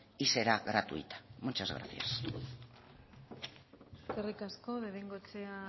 y será gratuita muchas gracias eskerrik asko de bengoechea